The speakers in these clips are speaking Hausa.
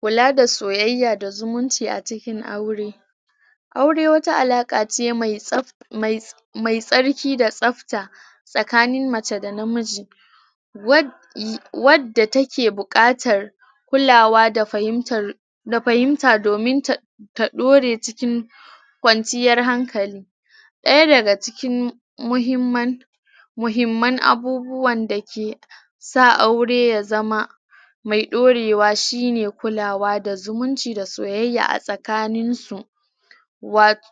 kula da soyayya da zumunci a cikin aure aure wata alaka ce mai tsab mai me tsarki da tsabta tsakanin mace da namiji wad wadda take bukatar kula wa da fahimta da fahimta domin ta ta dore cikin kwanciyar hankali daya daga cikin muhimman muhimman abubuwan dake sa aure ya zama me daurewa shine kulawa da zumunci da soyayya a tsakaninsu wato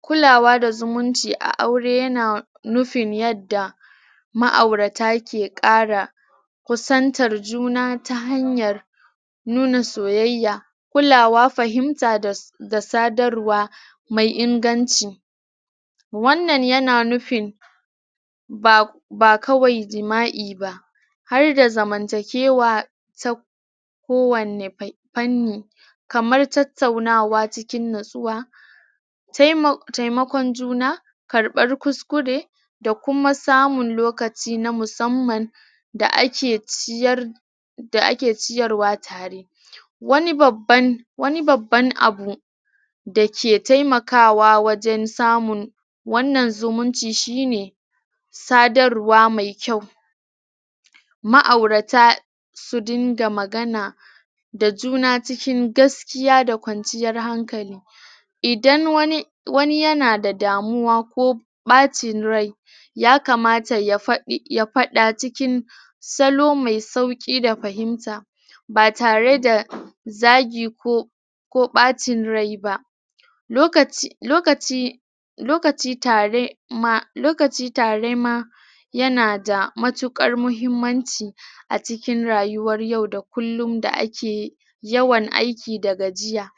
kulawa da zumunci a aure yana nufin yadda ma'aurata ke kara kusantar juna ta hanyar nuna soyayya kulawa fahimta da su da sadarwa mai inganci wannan yana nufin ba ko ba kawai jima'i ba har da zamantakewa sab ta kowani fanni kamar tattaunawa cikin natsuwa taimo taimakon juna karbar kuskure da kuma samun lokaci na musamman da ake ciyar da ake ciyarwa tare wani babban wani babban abu da ke taimakawa wajen samun wannan zumuncin shine sadarwa me kyau ma'aurata su dinga magana da juna cikin gaskiya da kwanciyar hankali idan wani wani yana da damuwa ko ko bacin rai ya kamata ya fadi ya fada cikin salo me sauki da fahimta batare da zagi ko ba cin rai ba lokaci lokaci lokaci tare ma lokaci tare ma yana da matukar mahimmanci a cikin rayuwar yau da kullum da akeyi yawan aiki da gajiya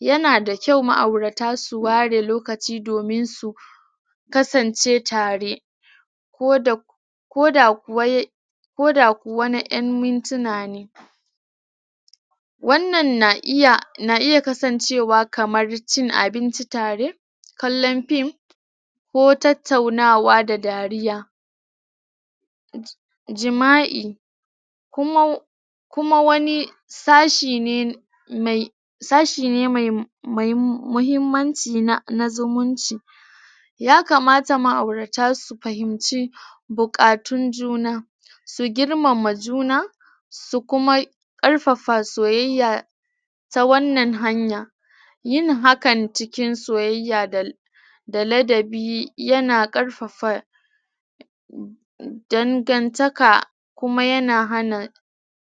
yana da kyau ma'aurata su ware lokaci domin su kasance tare ko da koda kuwa wai ko da kuwa na yan mintuna ne wannan na iya na iya kasancewa kamar cin abinci tare kallan fim ko tattaunawa da dariya jima'i kuma kuma wani wani sashe ne mai sashi ne mai mai mahim muhimmanci na zumunci ya kamata ma'aurata su fahimci bukatun juna su girmama juna su kuma karfafa soyayya ta wannan hanya yin hakan cikin soyayya da da ladabi yana karfafa dangan taka kuma yana hana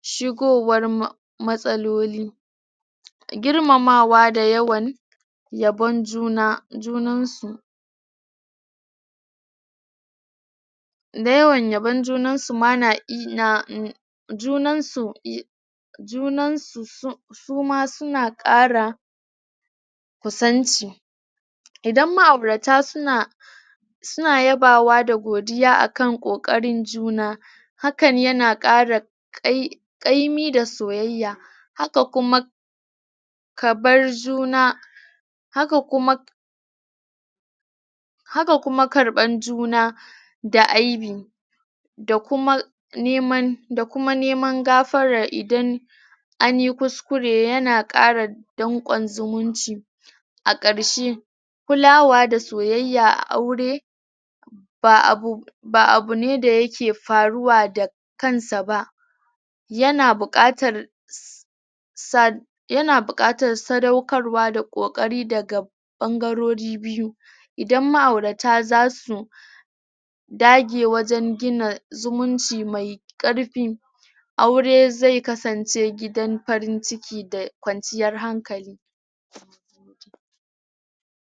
shigowar ma matsaloli girmamawa da yawan yabon junan junansu da yawan yabon junansu ma na iya junansu yi junansu su suma suna kara kusanci idan ma'aurata suna suna yabawa da godiya akan kokarin juna hakan yana kara kai kaimi da soyayya haka kuma kabar juna haka kuma haka kuma karban juna da aibi da kuma neman da kuma neman gafarar idan anyi kuskure yana kara dankon zumunci a karshe kulawa da soyayya a aure ba abu ba abune da yake faruwa da kansa ba yana bukatar?? sad yana bukatar sadaukarwa da kokari daga bangarori biyu idan ma'aurata zasu dage wajen gina zumunci me karfi aure zai kasance gidan farin ciki da kwanciyar hankali